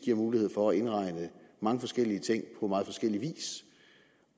giver mulighed for at indregne mange forskellige ting på meget forskellig vis